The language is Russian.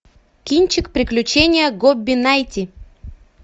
кинчик приключения гобби найти